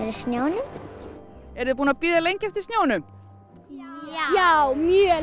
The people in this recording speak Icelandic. snjónum eruð þið búin að bíða lengi eftir snjónum já mjög